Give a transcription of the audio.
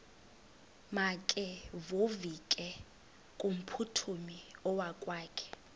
makevovike kumphuthumi okokwakhe